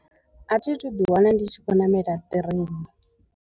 A thi thu dzula nda ḓi wana ndi tshi khou namela ṱireni.